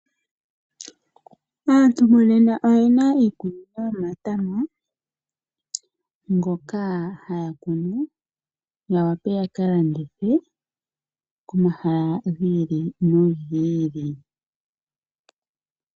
Aantu monena oyena iikunino yomatama ngoka haya kunu ya wape yaka landithe komahala gi ili nogi ili.